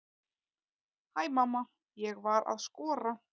Hæ mamma, ég var að skora!